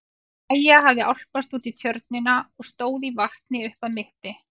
Maja hafði álpast út í tjörnina og stóð í vatni upp að mitti.